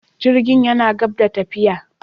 Jirgin yana gab da tafiya.